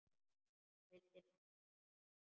Hún vildi negla hann!